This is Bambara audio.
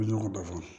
Ɲɔgɔn dafa